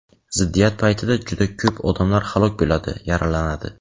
ziddiyat paytida juda ko‘p odamlar halok bo‘ladi, yaralanadi.